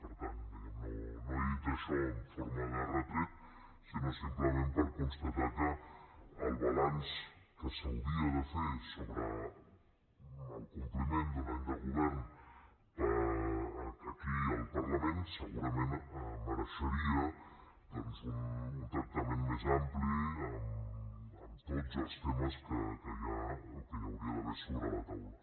per tant no he dit això en forma de retret sinó simplement per constatar que el balanç que s’hauria de fer sobre el compliment d’un any de govern aquí al parlament segurament mereixeria doncs un tractament més ampli amb tots els temes que hi hauria d’haver sobre la taula